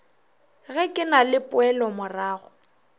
ge ke na le poelomorago